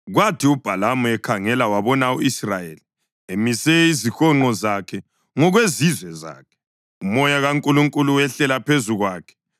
Kwathi uBhalamu ekhangela wabona u-Israyeli emise izihonqo zakhe ngokwezizwe zakhe, uMoya kaNkulunkulu wehlela phezu kwakhe